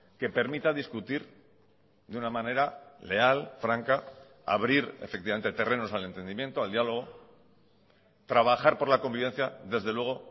que permita discutir de una manera leal franca abrir efectivamente terrenos al entendimiento al diálogo trabajar por la convivencia desde luego